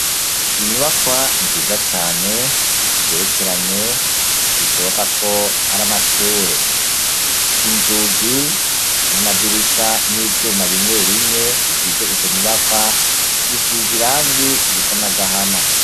Inyubakwa nziza cyane, zigerekeranye bishoboka ko ari amashure. Inzugi n'amadirisha n'ivyuma bimwe bimwe bigize izo nyubakwa bisiza irangi risa n'agahama.